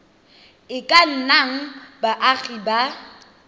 e ka nnang baagi ba